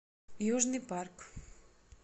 южный парк